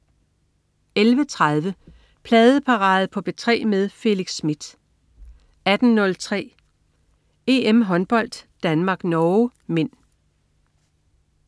11.30 Pladeparade på P3 med Felix Smith 18.03 EM-håndbold: Danmark-Norge (m)